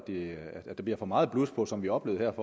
bliver for meget blus på som vi oplevede